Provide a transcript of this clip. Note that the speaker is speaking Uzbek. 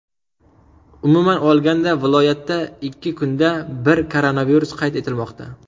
Umuman olganda viloyatda ikki kunda bir koronavirus qayd etilmoqda.